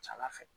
Ca ala fɛ